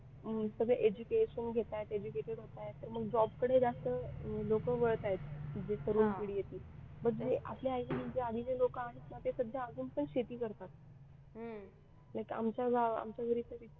सगळे education घेत आहेत educated होत आहेत तर मग job कडे जास्त अं वळत आहेत जे तरुण पिढी आहे ती म्हणजे आपल्या आई बाबांच्या आधीचे लोक आहेत ना ते सध्या अजून पण शेती करतात आमच्या गावात आमच्या घरी तर इतकी